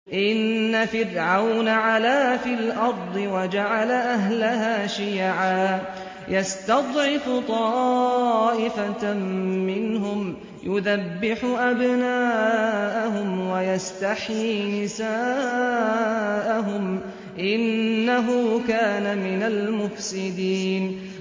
إِنَّ فِرْعَوْنَ عَلَا فِي الْأَرْضِ وَجَعَلَ أَهْلَهَا شِيَعًا يَسْتَضْعِفُ طَائِفَةً مِّنْهُمْ يُذَبِّحُ أَبْنَاءَهُمْ وَيَسْتَحْيِي نِسَاءَهُمْ ۚ إِنَّهُ كَانَ مِنَ الْمُفْسِدِينَ